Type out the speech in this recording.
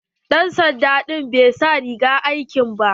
Dan sanda ɗin bai sa rigar aiki ba.